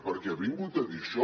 perquè ha vingut a dir això